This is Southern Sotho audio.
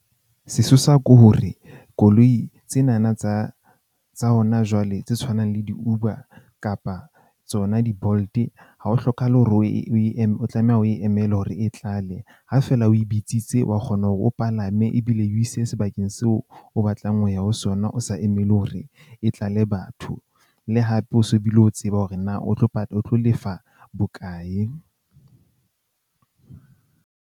Sesosa ke hore koloi tsena na tsa tsa hona jwale, tse tshwanang le di-Uber kapa tsona di-Bolt-e. Ha ho hlokahale hore o e eme o tlameha o e emele hore e tlale. Ha fela o e bitsitse wa kgona hore o palame ebile e o ise sebakeng seo o batlang ho ya ho sona, o sa emele hore e tlale batho. Le hape o so bile o tseba hore na o tlo o tlo lefa bokae.